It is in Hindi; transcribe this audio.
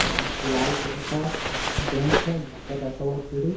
लाल कलर का बेंच है जिस पर रखा हुआ है चूड़ी--